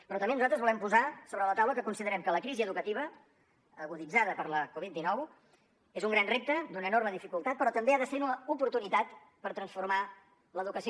però també nosaltres volem posar sobre la taula que considerem que la crisi educativa aguditzada per la covid dinou és un gran repte d’una enorme dificultat però també ha de ser una oportunitat per transformar l’educació